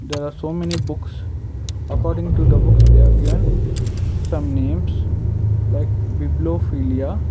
There are so many books according to the books they are given some names like bipliophilia.